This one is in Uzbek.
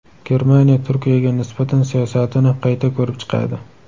Germaniya Turkiyaga nisbatan siyosatini qayta ko‘rib chiqadi.